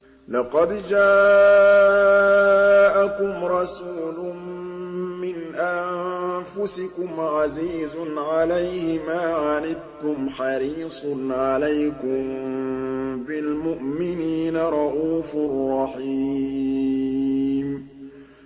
لَقَدْ جَاءَكُمْ رَسُولٌ مِّنْ أَنفُسِكُمْ عَزِيزٌ عَلَيْهِ مَا عَنِتُّمْ حَرِيصٌ عَلَيْكُم بِالْمُؤْمِنِينَ رَءُوفٌ رَّحِيمٌ